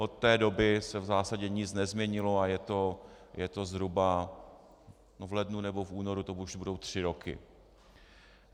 Od té doby se v zásadě nic nezměnilo a je to zhruba - v lednu nebo v únoru to už budou tři roky.